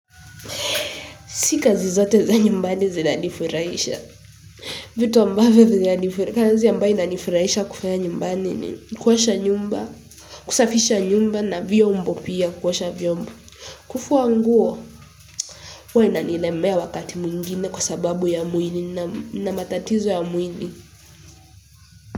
Si kazi zote za nyumbani zinanifurahisha vitu ambavyo zinanifurahisha kufanya nyumbani ni kuosha nyumba kusafisha nyumba na vyombo pia kuosha vyombo kufua nguo huwa inanilemea wakati mwingine kwa sababu ya muini na matatizo ya mwili.